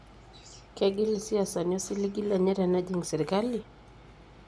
kegil isiasani osilingi lenye tenejik sirkali?